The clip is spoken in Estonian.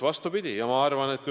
Vastupidi!